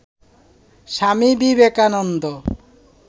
Swami Vivekananda